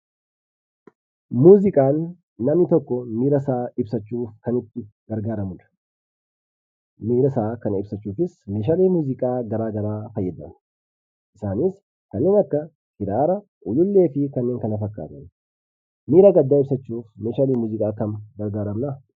Muuziqaan namni tokko miirasaa ibsachuuf kan itti fayyadamudha. Miirasaa kana ibsachuufis meeshaalee muuziqaa garaagaraa fayyadama. Isaanis kanneen akka kiraara, ulullee fi kanneen kana fakkaatan miira gaddaa ibsachuuf meeshaaleen muuziqaa kan gargaaranidha.